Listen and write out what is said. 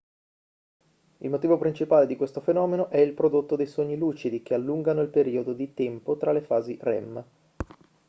il motivo principale di questo fenomeno è il prodotto dei sogni lucidi che allungano il periodo di tempo tra le fasi rem